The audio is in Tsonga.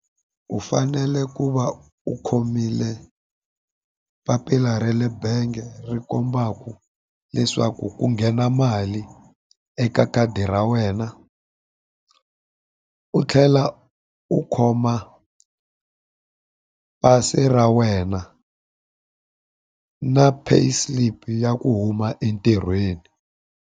U fanele ku va u khomile papila ra le bangi ri kombaka leswaku ku nghena mali eka khadi ra wena u tlhela u khoma pasi ra wena na pay slip ya ku huma entirhweni.